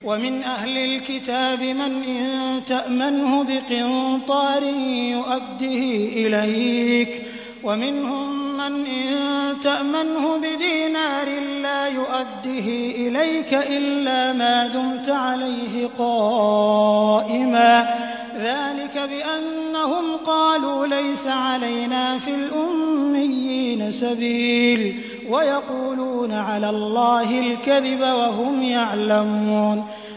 ۞ وَمِنْ أَهْلِ الْكِتَابِ مَنْ إِن تَأْمَنْهُ بِقِنطَارٍ يُؤَدِّهِ إِلَيْكَ وَمِنْهُم مَّنْ إِن تَأْمَنْهُ بِدِينَارٍ لَّا يُؤَدِّهِ إِلَيْكَ إِلَّا مَا دُمْتَ عَلَيْهِ قَائِمًا ۗ ذَٰلِكَ بِأَنَّهُمْ قَالُوا لَيْسَ عَلَيْنَا فِي الْأُمِّيِّينَ سَبِيلٌ وَيَقُولُونَ عَلَى اللَّهِ الْكَذِبَ وَهُمْ يَعْلَمُونَ